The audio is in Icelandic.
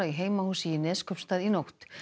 í heimahúsi í Neskaupstað í nótt